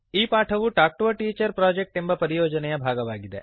ಈ ಪಾಠವು talk to a teacher project ಎಂಬ ಪರಿಯೋಜನೆಯ ಭಾಗವಾಗಿದೆ